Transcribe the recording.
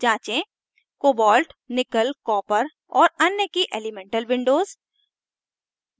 जाँचें cobalt nickel copper और अन्य की elemental windows